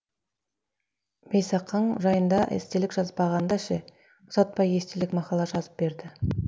бейсақаң жайында естелік жазбағанда ше ұзатпай естелік мақала жазып берді